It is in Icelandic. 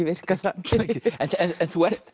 virkað þannig en þú ert